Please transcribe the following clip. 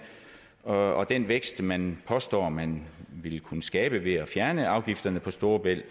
og den vækst man påstår man vil kunne skabe ved at fjerne afgifterne på storebælt